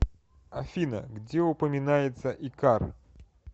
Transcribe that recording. афина где упоминается икар